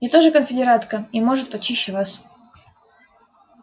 я тоже конфедератка и может почище вас